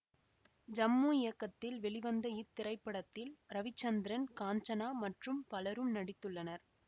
ஜம்மு இயக்கத்தில் வெளிவந்த இத்திரைப்படத்தில் ரவிச்சந்திரன் காஞ்சனா மற்றும் பலரும் நடித்துள்ளனர்